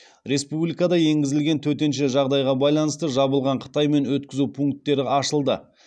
республикада енгізілген төтенше жағдайға байланысты жабылған қытаймен өткізу пункттері ашылды